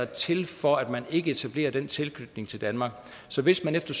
til for at man ikke etablerer den tilknytning til danmark så hvis man efter